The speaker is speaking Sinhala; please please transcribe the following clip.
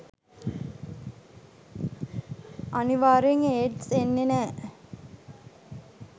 අනිවාර්යෙන් ඒඩ්ස් එන්නේ නෑ.